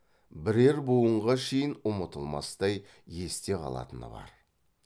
бірер буынға шейін ұмытылмастай есте қалатыны бар